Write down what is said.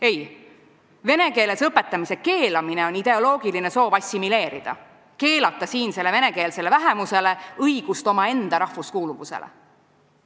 Ei, vene keeles õpetamise keelamine on ideoloogiline soov assimileerida, keelata siinsele venekeelsele vähemusele õigust omaenda rahvuskuuluvusele.